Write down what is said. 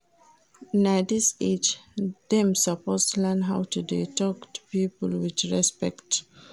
Na dis age dem suppose learn how to dey tok to pipo wit respect.